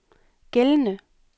gældende